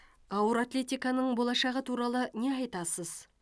ауыр атлетиканың болашағы туралы не айтасыз